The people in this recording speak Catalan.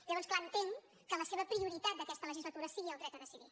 llavors clar entenc que la seva prioritat d’aquesta legislatura sigui el dret a decidir